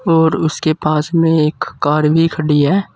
और उसके पास में एक कार भी खड़ी है।